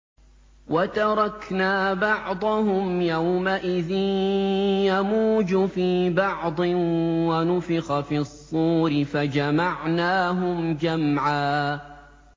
۞ وَتَرَكْنَا بَعْضَهُمْ يَوْمَئِذٍ يَمُوجُ فِي بَعْضٍ ۖ وَنُفِخَ فِي الصُّورِ فَجَمَعْنَاهُمْ جَمْعًا